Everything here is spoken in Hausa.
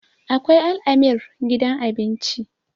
akwai al'amir gidan abinci